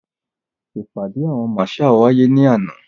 Ìpàdé àwọn marshal wáyé ní àná.